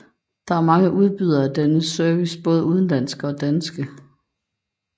Der er mange udbydere af denne service både udenlandske og danske